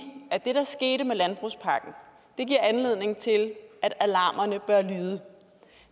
at det der skete med landbrugspakken giver anledning til at alarmerne bør lyde